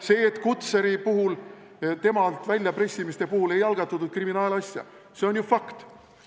See, et Kutserilt väljapressimise puhul ei algatatud kriminaalasja, see on ju fakt.